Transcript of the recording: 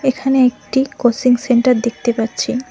এখানে একটি coaching centre দেখতে পাচ্ছি।